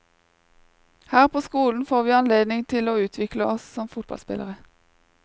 Her på skolen får vi anledning til å utvikle oss som fotballspillere.